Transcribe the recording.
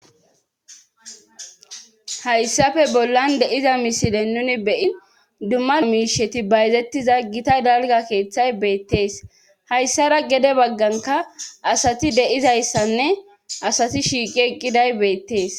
Hayssafe bollan deiza misilen nuni beyin dumma miisheti bayzettiza gita dalga keeththay beettees hayssara gede bagganka asati de7izayssanne asati shiiqi eqqiday beettees.